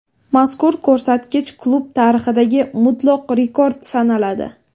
Mazkur ko‘rsatkich klub tarixidagi mutlaq rekord sanaladi.